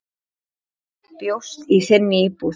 Bjóst í þinni íbúð.